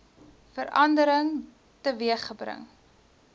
verandering teweeg gebring